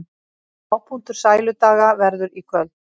Hápunktur Sæludaga verður í kvöld